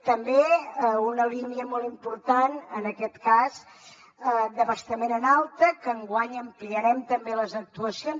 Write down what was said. també una línia molt important en aquest cas d’abastament en alta en què enguany ampliarem també les actuacions